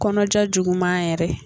Kɔnɔja juguman yɛrɛ